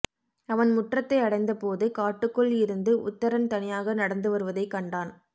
அவன் முற்றத்தை அடைந்தபோது காட்டுக்குள் இருந்து உத்தரன் தனியாக நடந்துவருவதை கண்டான்